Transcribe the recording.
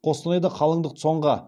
қостанайда қалыңдық цон ға